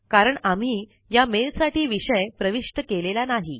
कारण आम्ही या मेल साठी विषय प्रविष्ट केलेला नाही